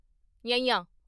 ਞੰਞਾ